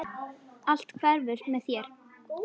Allt hverfur með þér.